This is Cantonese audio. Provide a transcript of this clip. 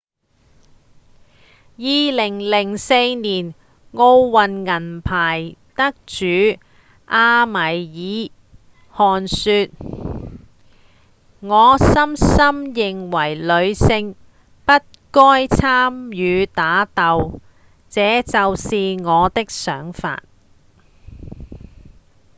2004年奧運銀牌得主阿米爾·汗說：「我深深認為女性不該參與打鬥這就是我的想法」